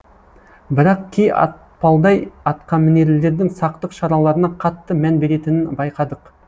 бірақ кей атпалдай атқамінерлердің сақтық шараларына қатты мән беретінін байқадық